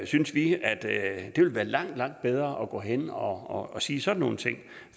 synes vi at at det ville være langt langt bedre at gå hen og og sige sådan nogle ting